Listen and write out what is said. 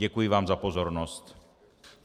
Děkuji vám za pozornost.